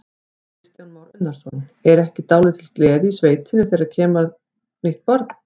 Kristján Már Unnarsson: Er ekki dálítil gleði í sveitinni þegar það kemur nýtt barn?